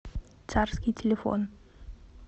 царский телефон